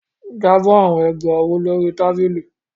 Drop the bangles on the table